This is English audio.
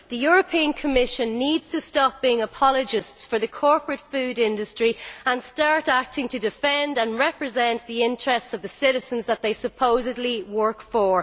The European Commission needs to stop being apologists for the corporate food industry and start acting to defend and represent the interests of the citizens that they supposedly work for.